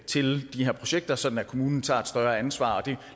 til de her projekter sådan at kommunen tager et større ansvar og det